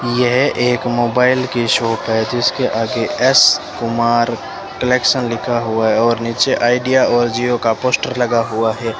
यह एक मोबाइल की शॉप है जिसके आगे एस कुमार कलेक्शन लिखा हुआ है और नीचे आइडिया और जिओ का पोस्टर लगा हुआ है।